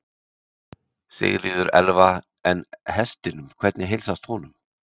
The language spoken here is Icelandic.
Sigríður Elva: En hestinum, hvernig heilsast honum?